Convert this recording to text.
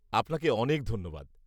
আপনাকে অনেক ধন্যবাদ!